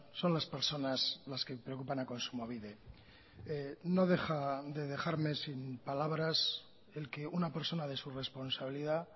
son las personas las que preocupan a kontsumobide no deja de dejarme sin palabras el que una persona de su responsabilidad